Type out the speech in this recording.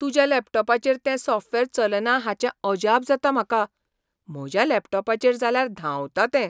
तुज्या लॅपटॉपाचेर तें सॉफ्टवेअर चलना हाचें अजाप जाता म्हाका. म्हज्या लॅपटॉपाचेर जाल्यार धांवता तें.